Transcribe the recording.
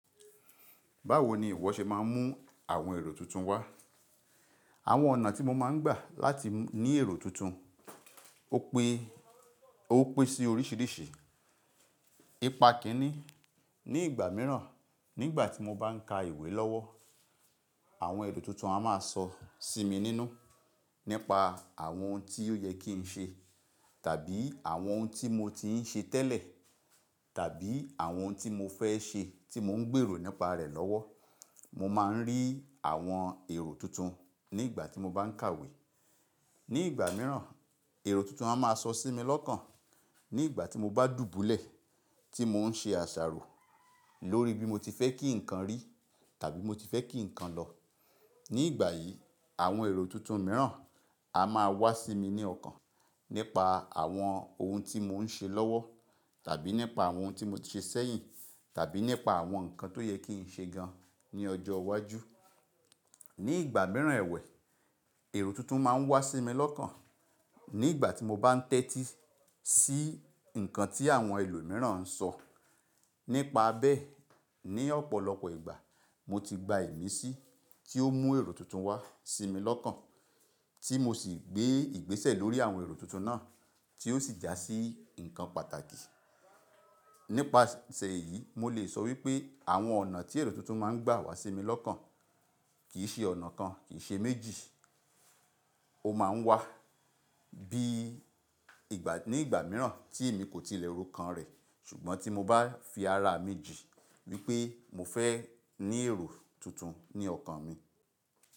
Báwo ni ìwọ ṣe máa ń mú àwọn èrò tuntun wá? Àwọn ọ̀nà tí mo máa ń gbà láti ní èrò tuntun ó pé, o pin sí oríṣìíríṣìí. Ípa kíni, ní ìgbà míràn, nígbà tí mo bá ń ka ìwé lọ́wọ́, àwọn èrò tuntun a máa sọ sí mi nínú nípa àwọn ohun tí ó yẹ kí n ṣe tàbí àwọn ohun tí mo ti ń ṣe tẹ́lẹ̀ tàbí àwọn ohun tí mo fẹ́ ṣe tí mò ń gbèrò nípa rẹ̀ lọ́wọ́. Mo máa ń rí àwọn èrò tuntun nígbà tí mo bá ń kàwé. Ní ìgbà míràn, èrò tuntun a máa sọ sí mi lọ́kàn nígbà tí mo bá dùbúlẹ̀, tí mò ń ṣe àṣàrò lórí bí mo ti fẹ́ kí nǹkan rí tàbí bi mo ti fẹ́ kí nǹkan lọ. Ní ìgbà yìí, àwọn èrò tuntun míràn a máa wá sí mi ní ọkàn nípa àwọn ohun tí mò ń ṣe lọ́wọ́ tàbí nípa àwọn ohun tí mo ti ṣe sẹ́yìn tàbí nípa àwọn nǹkan tó yẹ kí n ṣe gan ní ọjọ́ iwájú. Ní ìgbà míràn ẹwẹ̀, èrò tuntun máa ń wá sí mi lọ́kàn nígbà tí mo bá ń tẹ́tí sí nǹkan tí àwọn ẹlòmíràn ń sọ. Nípa bẹ́, ní ọ̀pọ̀lọpọ̀ ìgbà mo ti gba ìmísí tí ó mú èrò tuntun wá sí mi lọ́kàn tí mo sì gbé ìgbésẹ̀ lórí àwọn èrò tuntun náà tí ó sì jásí nǹkan pàtàkì. Nípasẹ̀ èyí, mo lè sọ wípé àwọn ọ̀nà tí èrò tuntun máa ń gbà wá sí mi lọ́kàn kì í ṣe ọ̀nà kan, kì í ṣe méjì. Ó máa ń wá bí ìgbà ní ìgbà míràn tí èmi kò ti lẹ̀ rokan rẹ̀ ṣùgbọ́n tí mo bá fi ara mi jii wípé mo fẹ́ ní èrò tuntun ní ọkàn mi.